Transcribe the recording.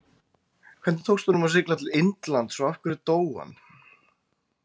Hvernig tókst honum að sigla til Indlands og af hverju dó hann?